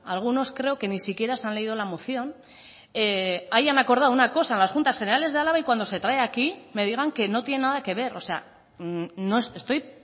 algunos creo que ni siquiera se han leído la moción hayan acordado una cosa en las juntas generales de álava y cuando se trae aquí me digan que no tiene nada que ver o sea estoy